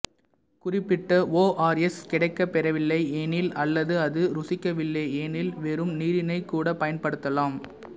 குறிப்பிட்ட ஓஆர்எஸ் கிடைக்கப் பெறவில்லை எனில் அல்லது அது ருசிக்கவில்லை எனில் வெறும் நீரினைக் கூடப் பயன்படுத்தலாம்